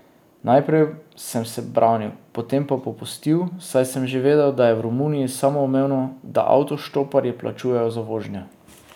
Najprej sem se branil, potem pa popustil, saj sem že vedel, da je v Romuniji samoumevno, da avtoštoparji plačujejo za vožnjo.